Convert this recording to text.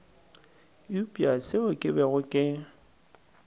eupša seo ke bego ke